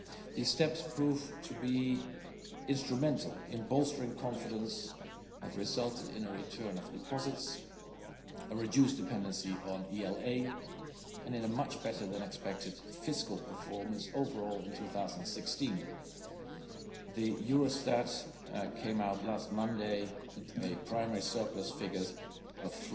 These steps proved to be instrumental in bolstering confidence, and have resulted in a return of deposits, a reduced dependency on ELA and in a much better than expected fiscal performance overall in 2016. Eurostat came out last Monday with a primary surplus figure of